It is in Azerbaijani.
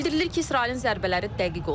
Bildirilir ki İsrailin zərbələri dəqiq olub.